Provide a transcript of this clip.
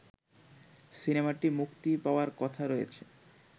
সিনেমাটি মুক্তি পাওয়ার কথা রয়েছে